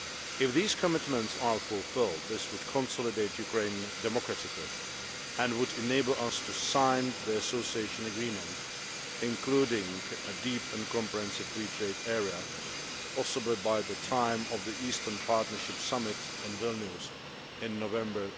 If these commitments are fulfilled this would consolidate Ukraine democratically and would enable us to sign the Association Agreement, including a Deep and Comprehensive Free Trade Area, possibly by the time of the Eastern Partnership Summit in Vilnius in November